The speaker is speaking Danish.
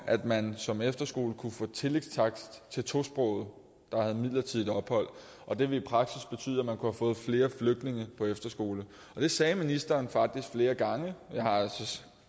at man som efterskole kunne få tillægstakst for tosprogede der havde midlertidigt ophold og det ville i praksis betyde at man kunne have fået flere flygtninge på efterskole det sagde ministeren faktisk flere gange